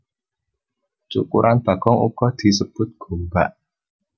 Cukuran bagong uga disebut gombak